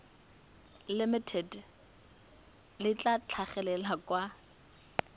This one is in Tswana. limited le tla tlhagelela kwa